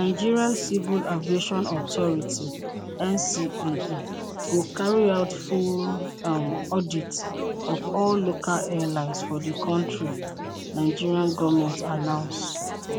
nigerian civil aviation authority ncaa go carry out full um audit of all local airlines for di kontri nigeria goment announce